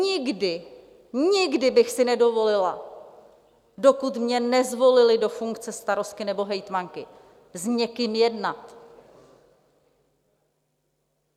Nikdy, nikdy bych si nedovolila, dokud mě nezvolili do funkce starostky nebo hejtmanky, s někým jednat.